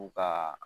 U ka